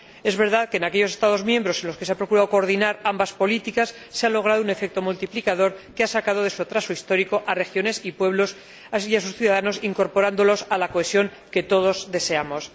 Es verdad que en aquellos Estados miembros en los que se ha procurado coordinar ambas políticas se ha logrado un efecto multiplicador que ha sacado de su atraso histórico a regiones y pueblos y a sus ciudadanos, incorporándolos a la cohesión que todos deseamos.